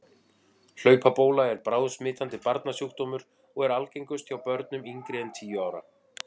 Hlaupabóla er bráðsmitandi barnasjúkdómur og er algengust hjá börnum yngri en tíu ára.